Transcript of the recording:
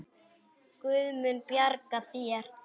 Guð mun bjarga þér.